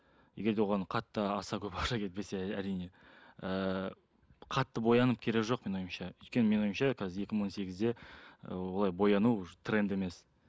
егер де оған қатты аса көп ақша кетпесе әрине ыыы қатты боянып керегі жоқ менің ойымша өйткені менің ойымша қазір екі мың он сегізде ы олай бояну тренд емес